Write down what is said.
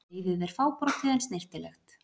Leiðið er fábrotið en snyrtilegt.